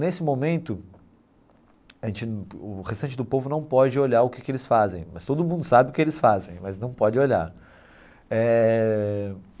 Nesse momento, a gente o restante do povo não pode olhar o que que eles fazem, mas todo mundo sabe o que eles fazem, mas não pode olhar eh.